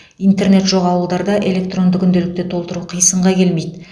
интернет жоқ ауылдарда электронды күнделікті толтыру қисынға келмейді